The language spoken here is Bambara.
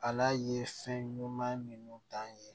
Ala ye fɛn ɲuman minnu dan ye